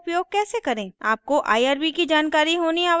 आपको irb की जानकारी होनी आवश्यक है